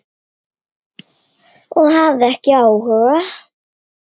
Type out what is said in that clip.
Og hafði ekki áhuga.